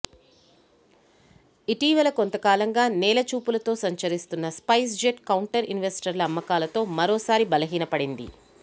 ఇటీవల కొంత కాలంగా నేలచూపులతో సంచరిస్తున్న స్పైస్జెట్ కౌంటర్ ఇన్వెస్టర్ల అమ్మకాలతో మరోసారి బలహీనపడింది